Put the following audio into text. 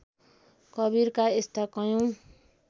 कवीरका यस्ता कैयौँ